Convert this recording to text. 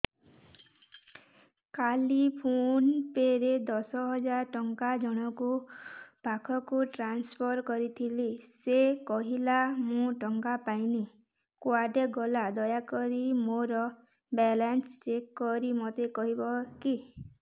କାଲି PhonePe ରେ ଦଶ ହଜାର ଟଙ୍କା ଜଣକ ପାଖକୁ ଟ୍ରାନ୍ସଫର୍ କରିଥିଲି ସେ କହିଲା ମୁଁ ଟଙ୍କା ପାଇନି କୁଆଡେ ଗଲା ଦୟାକରି ମୋର ବାଲାନ୍ସ ଚେକ୍ କରି ମୋତେ କହିବେ କି